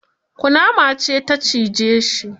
Kunama ce ta cije shi.